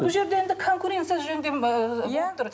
бұл жерде енді конкуренция ыыы болып тұр